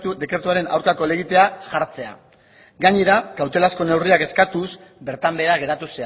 dekretuaren aurkako elegitea jartzea gainera kautelazko neurriak eskatuz bertan behera geratu